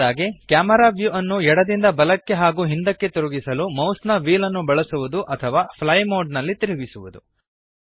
ಕೊನೆಯದಾಗಿ camera view ಅನ್ನು ಎಡದಿಂದ ಬಲಕ್ಕೆ ಹಾಗೂ ಹಿಂದಕ್ಕೆ ತಿರುಗಿಸಲು ಮೌಸ್ನ ವ್ಹೀಲ್ಅನ್ನು ಬಳಸುವದು ಅಥವಾ ಫ್ಲೈ ಮೋಡ್ ನಲ್ಲಿ ತಿರುಗಿಸುವದು